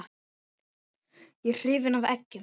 Ég er hrifinn af eggjum.